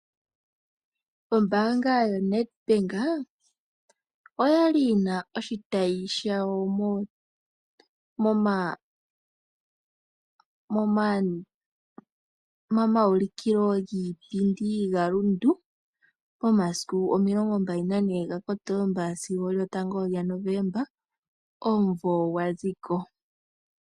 Ombanga yoNedbank oyali yina oshitayi shawo momaulikilo giipindi gaRundu, momasiku 24 Kotomba sigo 1 Novomba omuvo gwa ziko.